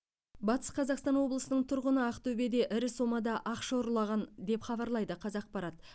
батыс қазақстан облысының тұрғыны ақтөбеде ірі сомада ақша ұрлаған деп хабарлайды қазақпарат